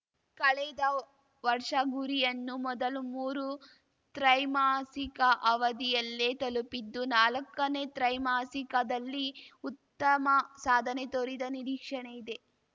ಕಳೆದ ವರ್ಷ ಗುರಿಯನ್ನು ಮೊದಲ ಮೂರು ತ್ರೈಮಾಸಿಕ ಅವಧಿಯಲ್ಲೇ ತಲುಪಿದ್ದು ನಾಲ್ಕನೇ ತ್ರೈಮಾಸಿಕದಲ್ಲಿ ಉತ್ತಮ ಸಾಧನೆ ತೋರಿದ ನಿರೀಕ್ಷಣೆ ಇದೆ